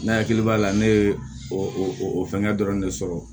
Ne hakili b'a la ne ye o fɛngɛ dɔrɔn de sɔrɔ